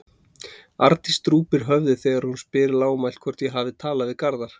Arndís drúpir höfði þegar hún spyr lágmælt hvort ég hafi talað við Garðar.